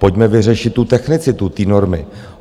Pojďme vyřešit tu technicitu té normy.